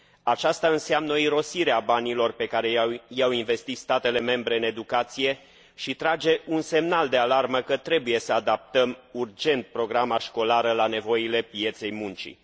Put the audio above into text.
Aceasta înseamnă o irosire a banilor pe care i au investit statele membre în educație și trage un semnal de alarmă că trebuie să adaptăm urgent programa școlară la nevoile pieței muncii.